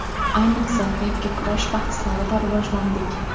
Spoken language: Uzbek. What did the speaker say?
Ayniqsa, yakkakurash bahslarida rivojlandik.